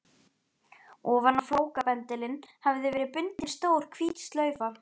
Ofan á flókabendilinn hafði verið bundin stór hvít slaufa.